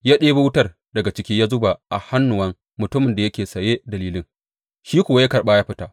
Ya ɗebo wutar daga ciki ya zuba a hannuwan mutumin da yake saye da lilin, shi kuwa ya karɓa ya fita.